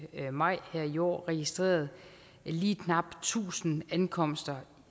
maj her i år registreret lige knapt tusind ankomster